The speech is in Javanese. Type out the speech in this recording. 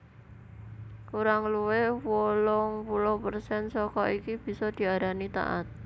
Kurang luwih wolung puluh persen saka iki bisa diarani taat